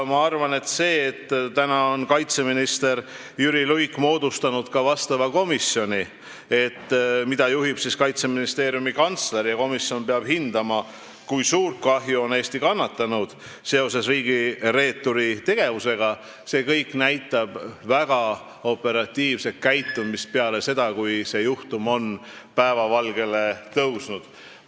Minu arvates see, et kaitseminister Jüri Luik on moodustanud ka vastava komisjoni, mida juhib Kaitseministeeriumi kantsler, ja et komisjon peab hindama, kui suurt kahju on Eesti riigireeturi tegevuse tõttu kannatanud, näitab väga operatiivset käitumist peale selle juhtumi päevavalgele tulekut.